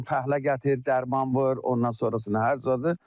Nə fəhlə gətir, dərman vur, ondan sonrasına hər zadı.